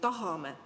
Me ju tahame.